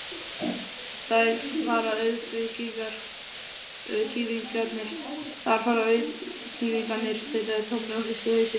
Þar fara auðkýfingarnir, tautaði Tommi og hristi hausinn.